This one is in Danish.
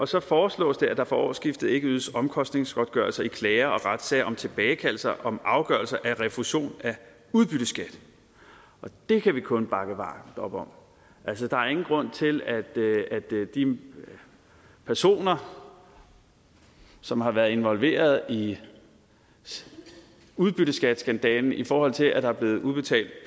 så foreslås det at der fra årsskiftet ikke ydes omkostningsgodtgørelser i klager og retssager om tilbagekaldelser om afgørelser af refusion af udbytteskat det kan vi kun bakke varmt op om altså der er ingen grund til at de personer som har været involveret i udbytteskatteskandalen i forhold til at der er blevet udbetalt